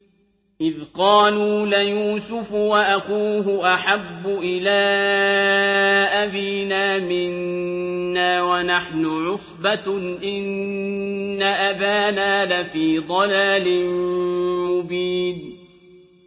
إِذْ قَالُوا لَيُوسُفُ وَأَخُوهُ أَحَبُّ إِلَىٰ أَبِينَا مِنَّا وَنَحْنُ عُصْبَةٌ إِنَّ أَبَانَا لَفِي ضَلَالٍ مُّبِينٍ